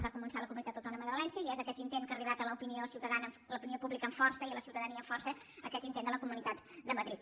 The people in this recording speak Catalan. es va començar a la comunitat autònoma de valència i és aquest intent que ha arribat a l’opinió pública amb força i a la ciutadania amb força aquest intent de la comunitat de madrid